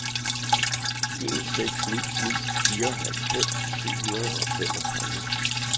en seks ni ni fireoghalvfems syv hundrede og femogtredive